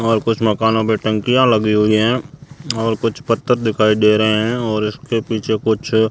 और कुछ मकानों पे टंकियां लगी हुईं हैं और कुछ पत्थर दिखाई दे रहे हैं और इसके पीछे कुछ--